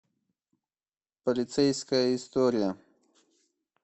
полицейская история